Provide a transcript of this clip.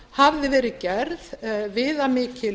hafði verið gerð viðamikil